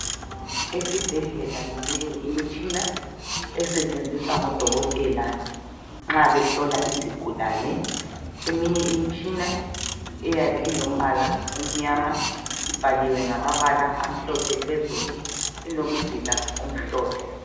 Esibhedlela minengi imitshina esetshenziswa ngodokotela nxa behlola izigulane. Eminye imitshina iyabe ilombala omnyama ibhaliwe ngamabala amhlophe phezulu ilomzila omhlophe.